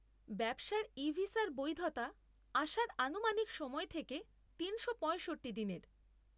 ব্যবসার ই ভিসার বৈধতা আসার আনুমানিক সময় থেকে তিনশো পয়ঁষট্টি দিনের।